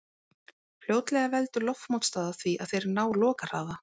Fljótlega veldur loftmótstaða því að þeir ná lokahraða.